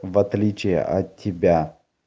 в отличие от тебя